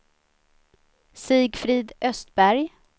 Sigfrid Östberg